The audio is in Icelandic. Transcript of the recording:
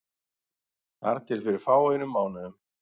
Þar til fyrir fáeinum mánuðum.